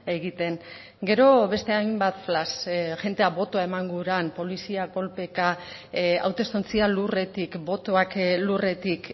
egiten gero beste hainbat flash jendea botoa eman guran polizia kolpeka hautestontzia lurretik botoak lurretik